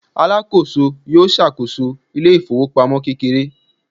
alakoso yíò ṣàkóso ile ifowopamọ kekere